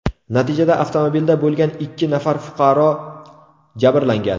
Natijada avtomobilda bo‘lgan ikki nafar fuqaro jabrlangan.